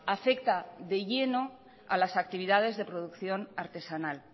afecta de lleno a las actividades de producción artesanal